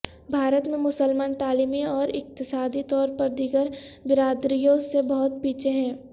بھارت میں مسلمان تعلیمی اور اقتصادی طور پر دیگر برادریوں سے بہت پیچھے ہیں